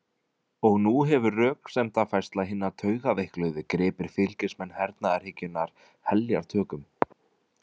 Og nú hefur röksemdafærsla hinna taugaveikluðu gripið fylgismenn hernaðarhyggjunnar heljartökum.